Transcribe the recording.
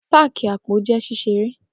Pocket Parks are so fun